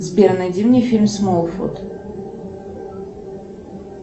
сбер найди мне фильм смолфут